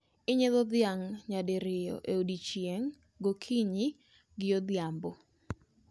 Inyiedho dhiang' nyadiroyo e odiechieng'; gokinyi gi godhiambo